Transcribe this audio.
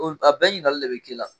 a bɛɛ ɲininkali de bɛ k'i la.